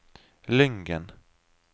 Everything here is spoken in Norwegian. Lyngen